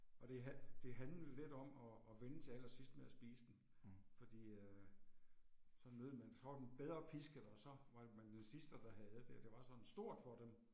Og det det handlede lidt om og og vente til allersidst med at spise den fordi øh så nød man så var den bedre pisket og så var man den sidste der havde det og det var sådan stort for dem